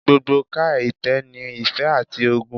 Gbogbo ká itẹ ni ife ati ogun